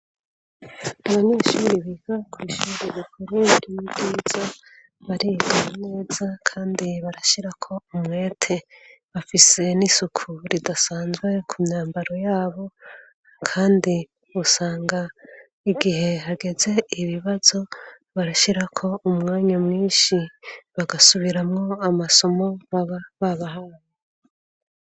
Abanyeshuri biga kw'ishuri rikuru ryo mu bwiza bariga neza kandi barashirako umwete, bafise n'isuku ridasanzwe ku myambaro yabo kandi usanga igihe hageze ibibazo barashirako umwanya mwinshi bagasubiramwo amasomo baba babahaye.